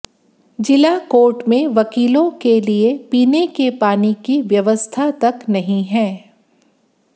जिला कोर्ट में वकीलों के लिए पीने के पानी की व्यवस्था तक नहीं है